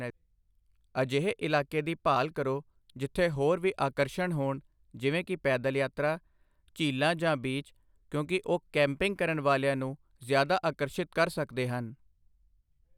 ਅਜਿਹੇ ਇਲਾਕੇ ਦੀ ਭਾਲ ਕਰੋ ਜਿੱਥੇ ਹੋਰ ਵੀ ਆਕਰਸ਼ਣ ਹੋਣ, ਜਿਵੇਂ ਕਿ ਪੈਦਲ ਯਾਤਰਾ, ਝੀਲਾਂ ਜਾਂ ਬੀਚ, ਕਿਉਂਕਿ ਉਹ ਕੈਂਪਿੰਗ ਕਰਨ ਵਾਲਿਆਂ ਨੂੰ ਜ਼ਿਆਦਾ ਆਕਰਸ਼ਿਤ ਕਰ ਸਕਦੇ ਹਨ।